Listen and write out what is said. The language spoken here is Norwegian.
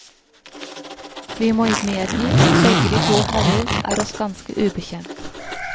Vi må medgi at begge de to herrer er oss ganske ubekjent.